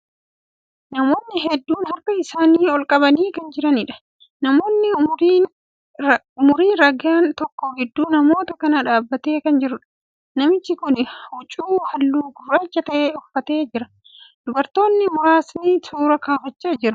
Namootni hedduun harka isaanii olqabanii kan jiraniidha. Namni umurii raagan tokko gidduu namoota kanaa dhaabbatee kan jiruudha. Namichi kuni huccuu halluu gurraacha ta'e uffatee jira. Dubartootni muraasni suuraa kaafachaa jiru.